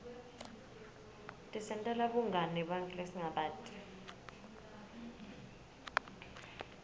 tisentela bungani nebanntfu lesingabati